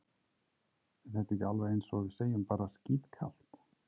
Er þetta ekki alveg eins og við segjum bara skítkalt?